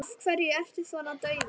Af hverju ertu svona daufur?